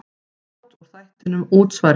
Brot úr þættinum Útsvari leikið.